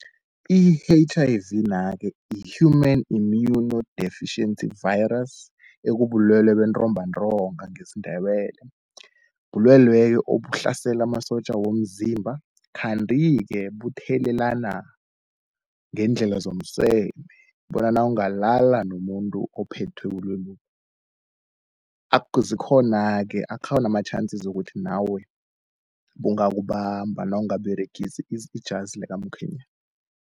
I-H_I_V yi-Human immunodeficiency virus ekubulwelwe bentumbantonga ngesiNdebele. Bulwele-ke obuhlasela amasotja womzimba. Kanti-ke buthelelana ngeendlela zomseme bona nawungalala nomuntu ophethwe bulwelobu zikhona-ke, akhona ama-chances wokuthi nawe bungakubamba nawungaberegisi ijazi likamkhwenyana.